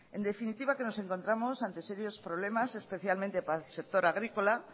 en definitiva que nos encontramos ante serios problemas especialmente para el sector agrícola